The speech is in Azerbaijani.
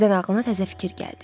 Birdən ağlına təzə fikir gəldi.